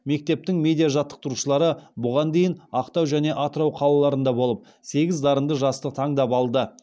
мектептің медиа жаттықтырушылары бұған дейін ақтау және атырау қалаларында болып сегіз дарынды жасты таңдап алды